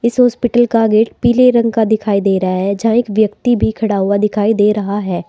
इस हॉस्पिटल का गेट पीले रंग का दिखाई दे रहा है जहां एक व्यक्ति भी खड़ा हुआ दिखाई दे रहा है।